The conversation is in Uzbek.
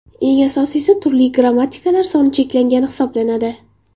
Eng asosiysi turli grammatikalar soni cheklangani hisoblanadi.